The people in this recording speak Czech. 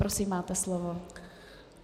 Prosím, máte slovo.